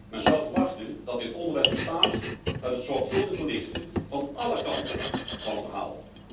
Men zou verwachten dat dit onderwijs bestaat uit het zorgvuldig belichten van alle kanten van een verhaal.